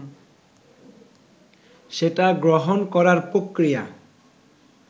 সেটা গ্রহণ করার প্রক্রিয়া